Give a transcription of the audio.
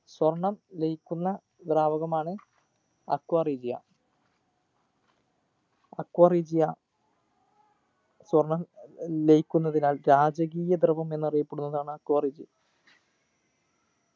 സ്വർണ്ണം ലയിക്കുന്ന ദ്രാവകമാണ് aqua regia aqua regia സ്വർണ്ണം ലയിക്കുന്നതിനാൽ രാജകീയ ദ്രവം എന്നറിയപ്പെടുന്നതാണ് aqua regia